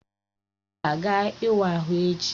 Ọ ga-aga ịwa ahụ echi?